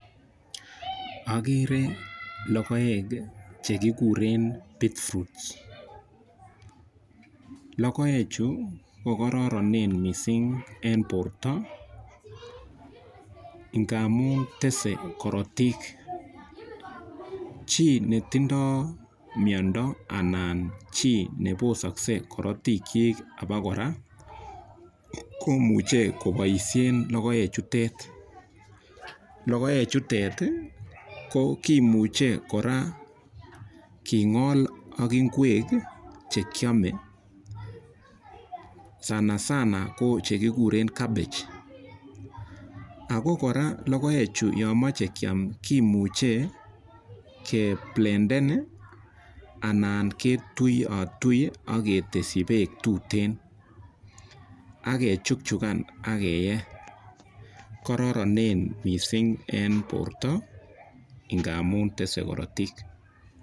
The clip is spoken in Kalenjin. Ageren logoek che kikuren beetroots. Logoechu ko kararanen missing' en porto ngamun tese karatiik. Chi netindai miondo anan chi ne posakse karatiikchik apa kora komuchi kopaishen logoechutet. Logoechutet ko kimuche kora king'ol ak ngwek che kiame, sansana ko che kikure cabbage. Ako kora logoechu yan kimache keam kimucu keblendan anan ketuiatui ak keteschi peek tuteen ak kechukchukan ak keyee . Kararanen missing' eng' porto ngamun tese karatiik.